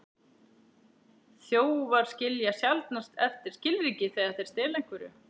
Þjófar skilja sjaldnast eftir skilríki þegar þeir stela einhverju.